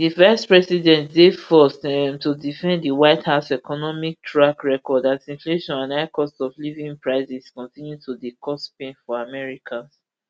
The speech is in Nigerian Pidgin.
di vicepresident dey forced um to defend di white house economic track record as inflation and high costofliving prices continue to dey cause pain for americans